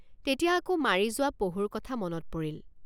তেতিয়া আকৌ মাৰি যোৱা পহুৰ কথা মনত পৰিল।